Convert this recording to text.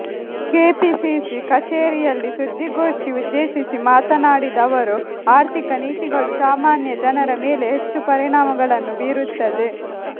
KPCC ಕಚೇರಿಯಲ್ಲಿ ಸುದ್ದಿಗೋಷ್ಠಿ ಉದ್ದೇಶಿಸಿ ಮಾತನಾಡಿದ ಅವರು ಆರ್ಥಿಕ ನೀತಿಗಳು ಸಾಮಾನ್ಯ ಜನರ ಮೇಲೆ ಹೆಚ್ಚು ಪರಿಣಾಮಗಳನ್ನು ಬೀರುತ್ತದೆ